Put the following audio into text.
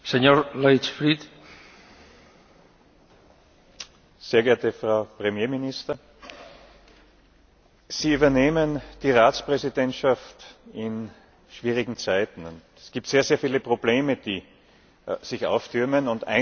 Herr Präsident, sehr geehrte Frau Premierministerin! Sie übernehmen die Ratspräsidentschaft in schwierigen Zeiten. Es gibt sehr, sehr viele Probleme, die sich auftürmen.